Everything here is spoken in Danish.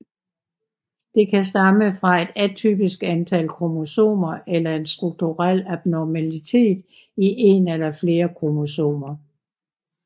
Det kan stamme fra et atypisk antal kromosomer eller en strukturel abnormalitet i en eller flere kromosomer